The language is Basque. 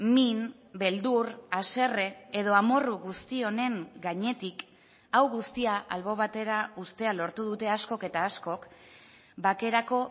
min beldur haserre edo amorru guzti honen gainetik hau guztia albo batera uztea lortu dute askok eta askok bakerako